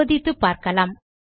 சோதித்துப்பார்க்கலாம்